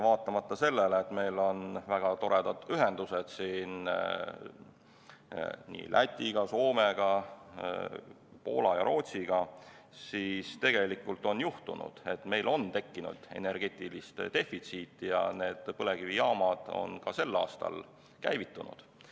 Vaatamata sellele, et meil on väga toredad ühendused Läti, Soome, Poola ja Rootsiga, on juhtunud, et meil on tekkinud energeetiline defitsiit, ja need põlevkivijaamad on ka sel aastal käivitunud.